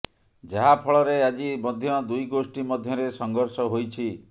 ଯାହା ଫଳରେ ଆଜି ମଧ୍ୟ ଦୁଇ ଗୋଷ୍ଠୀ ମଧ୍ୟରେ ସଂଘର୍ଷ ହୋଇଛି